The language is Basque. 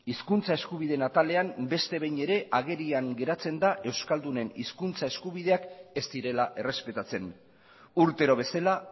hizkuntza eskubideen atalean beste behin ere agerian geratzen da euskaldunen hizkuntza eskubideak ez direla errespetatzen urtero bezala